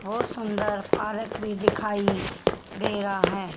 बहोत सुंदर पार्क भी दिखाइ दे रहा है।